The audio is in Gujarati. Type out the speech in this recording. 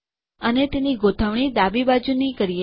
અને તેની ગોઠવણીએલાઇનમેંટ ડાબી બાજુની કરીએ